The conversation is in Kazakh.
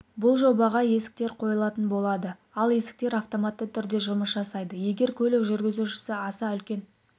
бұл жобаға есіктер қойылатын болады ол есіктер автоматты түрде жұмыс жасайды егер көлік жүргізушісі аса үлкен